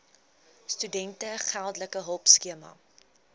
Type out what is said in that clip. studente geldelike hulpskema